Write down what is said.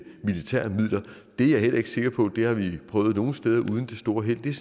militære midler det er jeg heller ikke sikker på det har vi prøvet nogle steder uden det store held det er